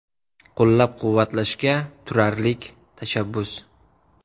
Qo‘llab-quvvatlashga turarlik tashabbus.